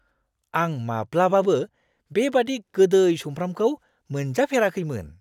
आं माब्लाबाबो बेबादि गोदै सुमफ्रामखौ मोनजाफेराखैमोन !